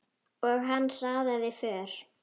Og hann hraðaði för.